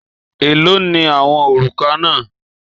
Èló ni àwọn òrùka náà?